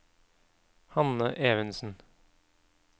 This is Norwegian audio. Hanne Evensen